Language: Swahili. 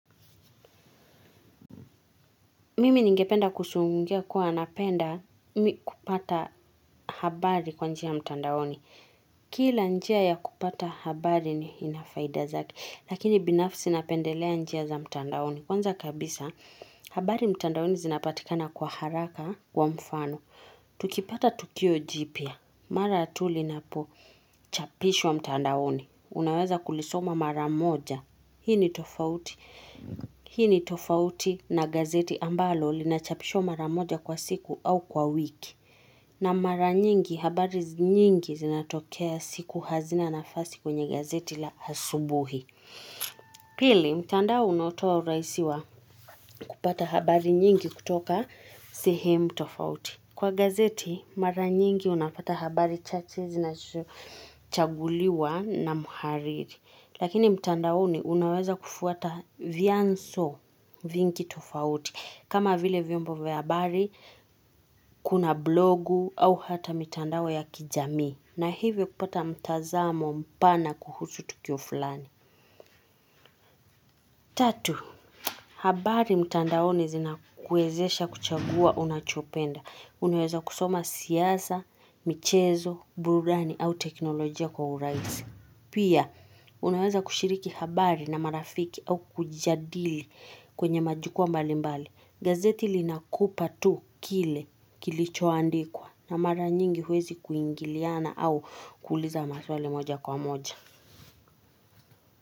Mimi ningependa kusuungia kuwa napenda kupata habari kwa njia mtandaoni. Kila njia ya kupata habari ni inafaida zake. Lakini binafsi napendelea njia za mtandaoni. Kwanza kabisa, habari mtandaoni zinapatikana kwa haraka kwa mfano. Tukipata tukio jipya. Mara tu linapochapishwa mtandaoni. Unaweza kulisoma mara moja. Hii ni tofauti. Hii ni tofauti na gazeti ambalo linachapishwa mara moja kwa siku au kwa wiki. Na mara nyingi habari nyingi zinatokea siku hazina nafasi kwenye gazeti la asubuhi. Pili, mtandao unaotoa urahisi wa kupata habari nyingi kutoka sihemu tofauti. Kwa gazeti, mara nyingi unapata habari chache zinazochaguliwa na mhariri. Lakini mtandaoni unaweza kufuata vianzo vingi tofauti. Kama vile vyombo vya habari, kuna blogu au hata mitandao ya kijamii. Na hivyo kupata mtazamo mpana kuhusu tukio fulani. Tatu, habari mtandaoni zina kuwezesha kuchagua unachopenda. Unaweza kusoma siasa, michezo, burani au teknolojia kwa uraisi. Pia, unaweza kushiriki habari na marafiki au kujadili kwenye majukuwa mbali mbali. Gazeti linakupa tu kile kilichoandikwa na mara nyingi huwezi kuingiliana au kuliza maswali moja kwa moja.